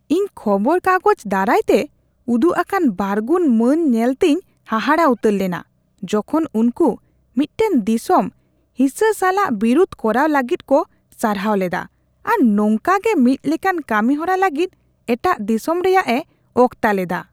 ᱤᱧ ᱠᱷᱚᱵᱚᱨ ᱠᱟᱜᱚᱡ ᱫᱟᱨᱟᱭ ᱛᱮ ᱩᱫᱩᱜ ᱟᱠᱟᱱ ᱵᱟᱨᱜᱩᱱ ᱢᱟᱱ ᱧᱮᱞᱛᱮᱧ ᱦᱟᱦᱟᱜ ᱩᱛᱟᱹᱨ ᱞᱮᱱᱟ ᱡᱚᱠᱷᱚᱱ ᱩᱱᱠᱩ ᱢᱤᱫᱴᱟᱝ ᱫᱤᱥᱚᱢ ᱦᱤᱸᱥᱟᱹ ᱥᱟᱞᱟᱜ ᱵᱤᱨᱩᱫ ᱠᱚᱨᱟᱣ ᱞᱟᱹᱜᱤᱫ ᱠᱚ ᱥᱟᱨᱦᱟᱣ ᱞᱮᱫᱟ ᱟᱨ ᱱᱚᱝᱠᱟᱜᱮ ᱢᱤᱫ ᱞᱮᱠᱟᱱ ᱠᱟᱹᱢᱤᱦᱚᱨᱟ ᱞᱟᱹᱜᱤᱫ ᱮᱴᱟᱜ ᱫᱤᱥᱚᱢ ᱨᱮᱭᱟᱜ ᱮ ᱚᱠᱛᱟ ᱞᱮᱫᱟ ᱾ (ᱦᱚᱲ ᱒)